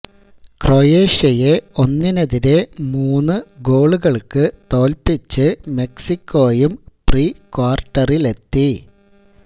ക്രൊയേഷ്യയെ ഒന്നിനെതിരെ മൂന്ന് ഗോളുകള്ക്ക് തോല്പിച്ച് മെക്സിക്കോയും പ്രീ ക്വാര്ട്ടറിലെത്തി